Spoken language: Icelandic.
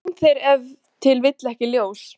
Er hún þér ef til vill ekki ljós?